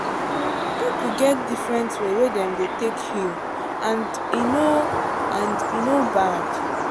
people get different way wey dem dey take heal and e no and e no bad.